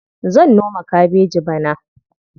Zan noma kabeji bana.